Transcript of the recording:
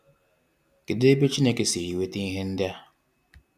Kedụ ebe Chineke siri nweta ihe ndị a?